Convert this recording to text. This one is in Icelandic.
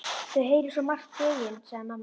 Þau heyra svo margt, greyin, sagði amma.